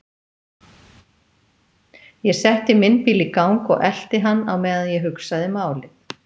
Ég setti minn bíl í gang og elti hann á meðan ég hugsaði málið.